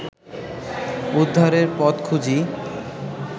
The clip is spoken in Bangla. উদ্ধারের পথ খুঁজি